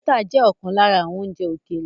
Bọ́tà jẹ́ ọ̀kan lára àwọn oúnjẹ ókéré